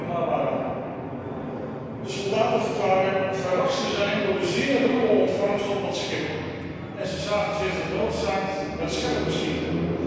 De soldaten verklaarden verrast te zijn door de zeer ruwe ontvangst op dat schip en ze zagen zich genoodzaakt met scherp te schieten.